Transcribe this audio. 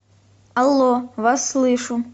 алло вас слышу